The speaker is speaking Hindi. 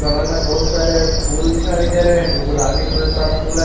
बगल में बहुत सारे फूल दिखाई दे रहे हैं जो गुलाबी कलर का फूल है।